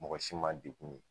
Mɔgɔ si ma degun ye